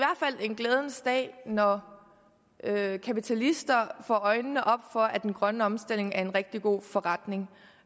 en glædens dag når kapitalister får øjnene op for at den grønne omstilling er en rigtig god forretning